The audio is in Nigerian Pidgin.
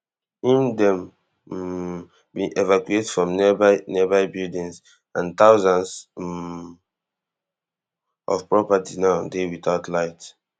im dem um bin evacuate from nearby nearby buildings and thousands um of properties now dey witout light